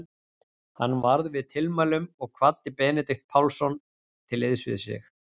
Hann varð við tilmælunum og kvaddi Benedikt Pálsson til liðs við sig.